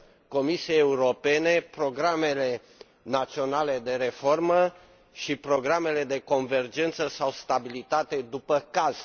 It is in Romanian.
Comisiei Europene programele naționale de reformă și programele de convergență sau stabilitate, după caz.